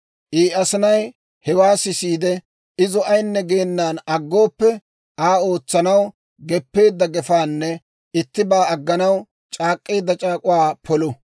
I asinay hewaa sisiide, izo ayinne geenan aggooppe, Aa ootsanaw geppeedda gefaanne ittibaa agganaw c'aak'k'eedda c'aak'uwaa polu.